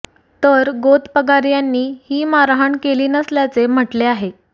तर गोतपगार यांनी ही मारहाण केली नसल्याचे म्हटले आहे